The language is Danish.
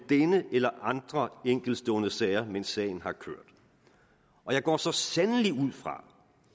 denne eller andre enkeltstående sager mens sagen har kørt og jeg går så sandelig ud fra